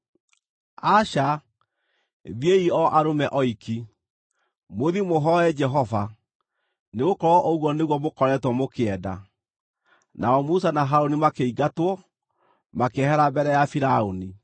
Aca! Thiĩi o arũme oiki, mũthiĩ mũhooe Jehova, nĩgũkorwo ũguo nĩguo mũkoretwo mũkĩenda.” Nao Musa na Harũni makĩingatwo, makĩehera mbere ya Firaũni.